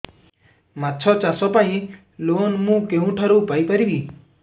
ମାଛ ଚାଷ ପାଇଁ ଲୋନ୍ ମୁଁ କେଉଁଠାରୁ ପାଇପାରିବି